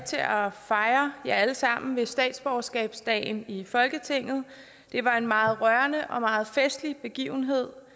fejre jer alle sammen ved statsborgerskabsdagen i folketinget det var en meget rørende og meget festlig begivenhed